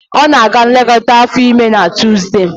Ọ na-aga nlekọta afọ ime na Tuzdee